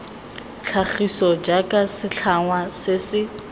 tlhagiso jaaka setlhangwa se se